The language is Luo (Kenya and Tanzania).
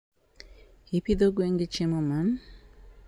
ipidho gwengi chiemo man?